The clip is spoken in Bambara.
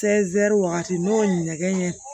wagati n'o ye ɲɛgɛn ɲɛgɛn